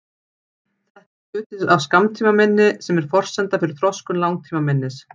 Þetta er hluti af skammtímaminni sem er forsenda fyrir þroskun langtímaminnis.